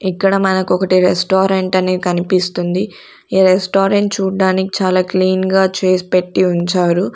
ఇక్కడ మనకు ఒకటి రెస్టారెంట్ అని కనిపిస్తుంది ఈ రెస్టారెంట్ చూడటానికి చాలా క్లీన్ గా చేసి పెట్టి ఉంచారు.